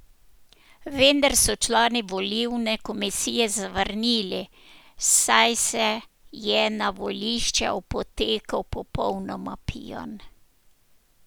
Vendar so člani volilne komisije zavrnili, saj se je na volišče opotekel popolnoma pijan.